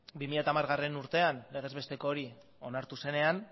bi mila hamargarrena urtean legez besteko hori onartu zenean